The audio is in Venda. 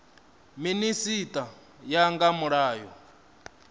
minisita u ya nga mulayo